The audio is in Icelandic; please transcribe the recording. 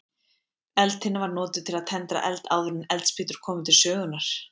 Eldtinna var notuð til að tendra eld áður en eldspýtur komu til sögunnar.